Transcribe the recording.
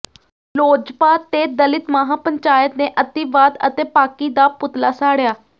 ਲੋਜਪਾ ਤੇ ਦਲਿਤ ਮਹਾਂ ਪੰਚਾਇਤ ਨੇ ਅਤਿਵਾਦ ਅਤੇ ਪਾਕਿ ਦਾ ਪੁਤਲਾ ਸਾੜਿਆ